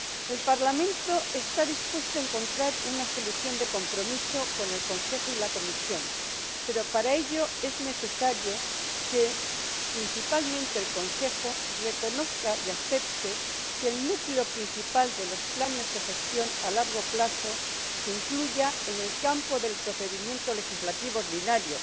El Parlamento está dispuesto a encontrar una solución de transacción con el Consejo y la Comisión pero, para ello, es necesario que principalmente el Consejo reconozca y acepte que el núcleo principal de los planes de gestión a largo plazo se incluya en el ámbito del procedimiento legislativo ordinario.